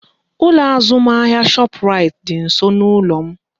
Ụlọ azụmahịa Shoprite dị nsọ n'ụlọ m